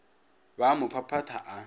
ba a mo phaphatha a